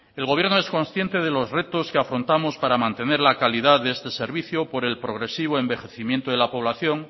el gobierno es consciente de los retos que afrontamos para mantener la calidad de este servicio por el progresivo envejecimiento de la población